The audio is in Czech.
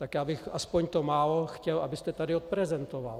Tak já bych aspoň to málo chtěl, abyste tady odprezentoval.